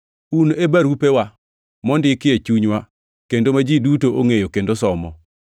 Un e barupewa, mondiki e chunywa, kendo ma ji duto ongʼeyo, kendo somo.